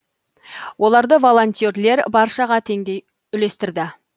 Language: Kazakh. оларды волонтерлер баршаға теңдей үлестірді